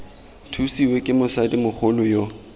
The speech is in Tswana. thusiwe ke motsadi mogolo yo